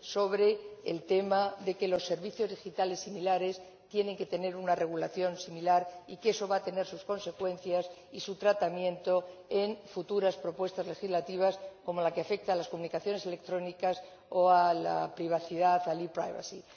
sobre el tema de que los servicios digitales similares tienen que tener una regulación similar y que eso va a tener sus consecuencias y su tratamiento en futuras propuestas legislativas, como la que afecta a las comunicaciones electrónicas o a la privacidad, a la e privacy